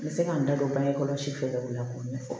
N bɛ se ka n da don bange kɔlɔsi fɛɛrɛ kɛ o la k'o ɲɛfɔ